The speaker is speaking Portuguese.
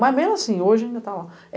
Mas mesmo assim, hoje ainda está lá.